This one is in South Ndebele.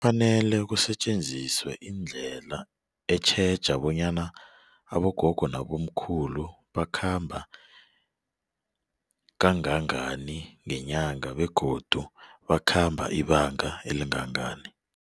Kufanele kusetjenziswe indlela etjheje bonyana abogogo nabomkhulu bakhamba kangangani ngenyanga begodu bakhamba ibanga elingangani.